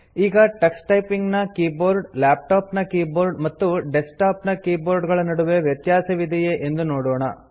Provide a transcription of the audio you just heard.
ಈಗ Tux Typing ನ keyboard laptop ನ ಕೀಬೋರ್ಡ್ ಮತ್ತು ಡೆಸ್ಕ್ಟಾಪ್ ನ ಕೀಬೋರ್ಡ್ ಗಳ ನಡುವೆ ವ್ಯತ್ಯಾಸವಿದೆಯೇ ಎಂದು ನೋಡೋಣ